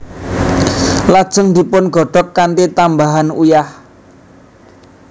Lajeng dipungodhog kanthi tambahan uyah